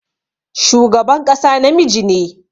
Shugaban ƙasa namiji ne.